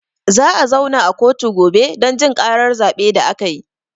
Za a zauna a kotu gobe don jin ƙarar zaɓe da akayi